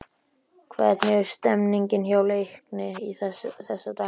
Hvernig er stemningin hjá Leikni þessa dagana?